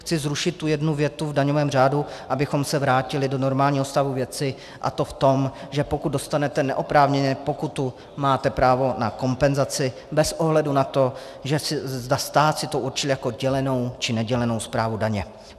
Chci zrušit tu jednu větu v daňovém řádu, abychom se vrátili do normálního stavu věci, a to v tom, že pokud dostanete neoprávněně pokutu, máte právo na kompenzaci bez ohledu na to, zda stát si to určil jako dělenou, či nedělenou správu daně.